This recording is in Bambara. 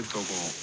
Ko